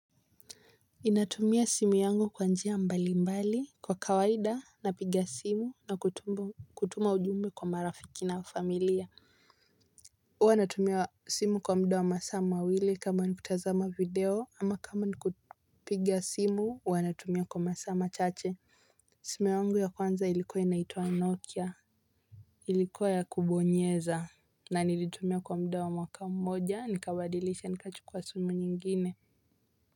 Ninatumia simu yangu kwa njia mbali mbali kwa kawaida na piga simu na kutumba kutuma ujumbe kwa marafiki na familia huwa natumia simu kwa mda wa masaa mawili kama nikutazama video ama kama nikupiga simu huwa natumia kwa masaa machache. Simu yangu ya kwanza ilikuwa inaitwa nokia ilikuwa ya kubonyeza na nilitumia kwa mda wa mwaka mmoja nikawadilisha nikachukua kwa sumu nyingine.